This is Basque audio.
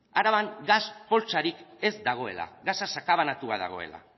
araban gas poltsarik ez dagoela gasa sakabanatua dagoela